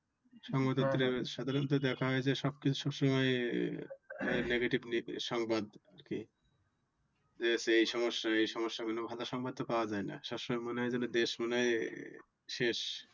সংবাদ পত্রে সাধারণত দেখা হয় যে সব কিছু সব সময় negatively সংবাদ আর কি। যে এই সমস্যা এই সমস্যা ভালো সংবাদ তো পাওয়া যায়ই না সব সময় মনে হয় যেন দেশ মনে হয় আহ শেষ।